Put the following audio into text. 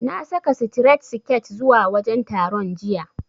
Na saka sitiret siket zuwa wajen taron, jiya.